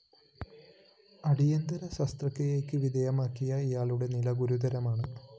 അടിയന്തിര ശസ്ത്രക്രിയക്ക് വിധേയമാക്കിയ ഇയാളുടെ നില ഗുരുതരമാണ്